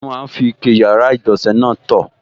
Wọ́n máa n fi ike yàrá-ìgbọ̀nsẹ̀ náà tọ̀